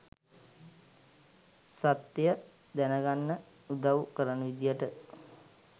සත්‍යය දැන ගන්න උදව් කරන විදියට